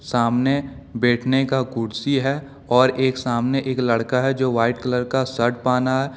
सामने बैठने का कुर्सी है और एक सामने एक लड़का है जो वाइट कलर का सर्ट पहना है।